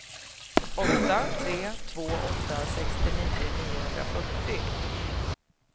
åtta tre två åtta sextionio niohundrafyrtio